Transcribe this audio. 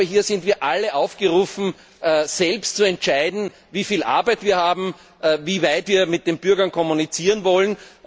Hier sind wir alle aufgerufen, selbst zu entscheiden, wie viel Arbeit wir haben und inwieweit wir mit den Bürgern kommunizieren wollen.